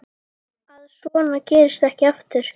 Að svona gerist ekki aftur.